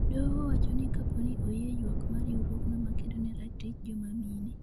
doho owacho ni kapo ni oyie ywak mar riwruogno makedo ne ratich joma mine